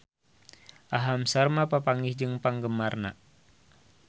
Aham Sharma papanggih jeung penggemarna